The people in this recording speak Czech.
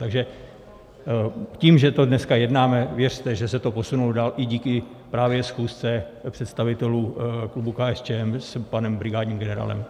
Takže tím, že to dneska jednáme, věřte, že se to posunulo dál i díky právě schůzce představitelů klubu KSČM s panem brigádním generálem.